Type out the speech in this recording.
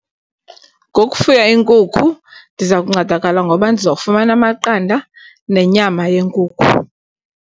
Ngokufuya iinkukhu ndiza kuncedakala ngoba ndizawufumana amaqanda nenyama yenkukhu.